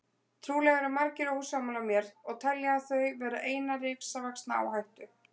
Trúlega eru margir ósammála mér og telja þau vera eina risavaxna áhættu.